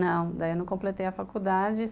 Não, daí eu não completei a faculdade.